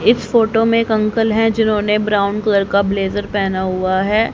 इस फोटो में एक अंकल है जिन्होंने ब्राउन कलर का ब्लेजर पहना हुआ है।